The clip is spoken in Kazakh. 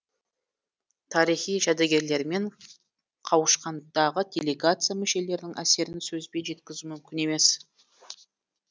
тарихи жәдігерлермен қауышқандағы делегация мүшелерінің әсерін сөзбен жеткізу мүмкін емес